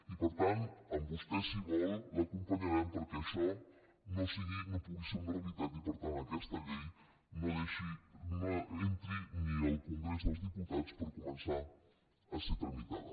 i per tant a vostè si vol l’acompanyarem perquè això no pugui ser una realitat i per tant aquesta llei no entri ni al congrés dels diputats per començar a ser tramitada